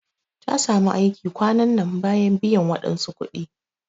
Ta samu aiki kwanan nan bayan biyan wadansu kudi.